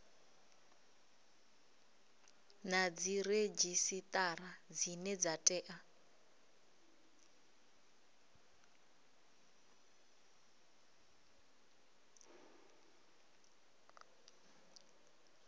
na dziredzhisitara dzine dza tea